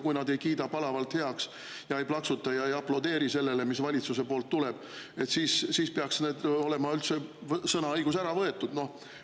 Kui nad ei kiida seda palavalt heaks, ei plaksuta ega aplodeeri kõigele sellele, mis valitsusest tuleb, siis peaks neilt olema üldse sõnaõigus ära võetud?